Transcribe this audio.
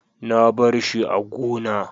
na barshi a gona